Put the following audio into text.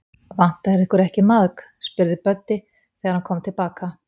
Vantar ykkur ekki maðk? spurði Böddi, þegar hann kom til baka.